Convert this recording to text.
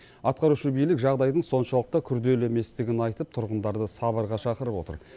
атқарушы билік жағдайдың соншалықты күрделі еместігін айтып тұрғындарды сабырға шақырып отыр